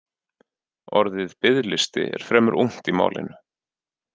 Orðið biðlisti er fremur ungt í málinu.